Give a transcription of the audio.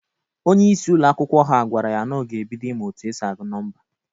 Onyeisi ụlọ akwụkwọ ha gwara ya na ọ ga-ebido ịmụ otu esi agụ nọmba.